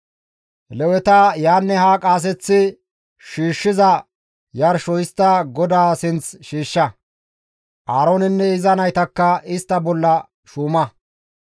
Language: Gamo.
Leweta yaanne haa qaaseththi shiishshiza yarsho histtada GODAA sinth shiishsha; Aaroonenne iza naytakka istta bolla shuuma.